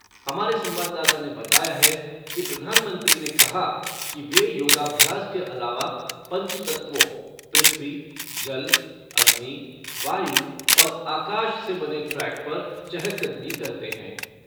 हमारे संवाददाता ने बताया है कि प्रधानमंत्री ने कहा कि वे योगाभ्यास के अलावा पंचतत्वों पृथ्वी, जल, अग्नि, वायु और आकाश से बने ट्रैक पर चहल कदमी करते हैं।